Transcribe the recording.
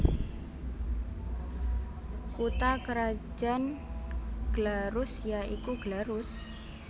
Kutha krajan Glarus ya iku Glarus